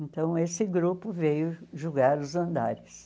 Então, esse grupo veio julgar os andares.